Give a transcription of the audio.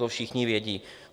To všichni vědí.